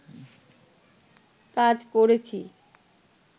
কাজ করেছি